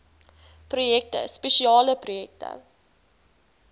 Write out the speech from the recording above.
projekte spesiale projekte